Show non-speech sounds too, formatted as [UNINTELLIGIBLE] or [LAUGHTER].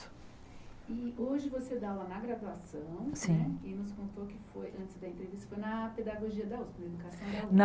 E hoje você dá aula na graduação, Sim né e nos contou que foi, antes da entrevista, foi na Pedagogia da Usp educação. [UNINTELLIGIBLE]